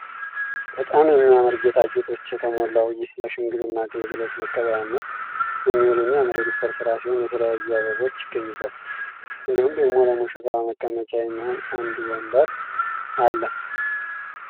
በጣም የሚያምር ጌጣጌጦች የተሞላው ይህ ለሽምግልና አገልግሎት መቀበያነት የሚውል የሚያምር የዲኮር ስራ ሲሆን የተለያዩ አበቦች ይገኙበታል እንዲሁም ደግሞ ለሙሽራዋ መቀመጫ የሚሆን አንድ ወንበር አለ።